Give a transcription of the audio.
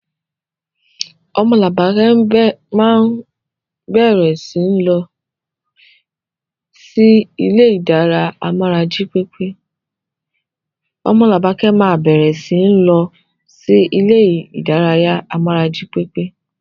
Omolabake máa bẹ̀rẹ̀ síi lọ sí ilé ìdárayá amára jí pépé.